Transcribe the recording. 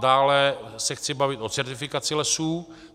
Dále se chci bavit o certifikaci lesů.